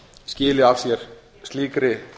skili af sér slíkri